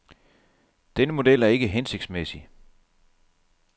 Denne model er ikke hensigtsmæssig.